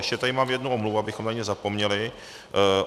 Ještě tady mám jednu omluvu, abychom na ni nezapomněli.